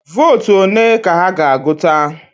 Vootu ole ka ha ga-agụta?